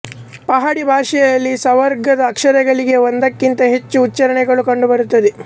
ಪಹಾಡಿ ಭಾಷೆಯಲ್ಲಿ ಸ ವರ್ಗದ ಅಕ್ಷರಗಳಿಗೆ ಒಂದಕ್ಕಿಂತ ಹೆಚ್ಚು ಉಚ್ಚಾರಣೆಗಳು ಕಂಡುಬರುತ್ತವೆ